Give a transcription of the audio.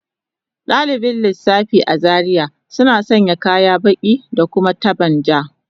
Dalibin lissafi a Zaria suna sanya kaya baki da kuma taban ja